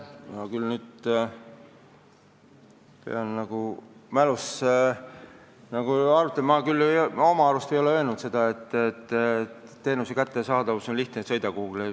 Ma pean nüüd küll oma mälus sobrama – ma oma arust ei ole öelnud seda, et teenuseid on lihtne kätte saada, kui kuhugi sõita.